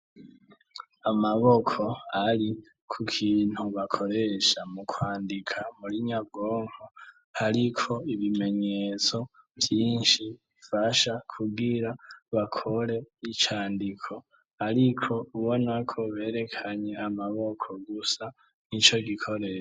Amaboko ari ku kintu bakoresha mu kwandika muri nyabwonko, ariko ibimenyetso vyinshi bifasha kugira bakore icandiko, ariko ubona ko berekanye amaboko gusa nico gikoresho.